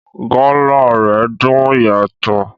Gala rẹ dùn yàtọ̀.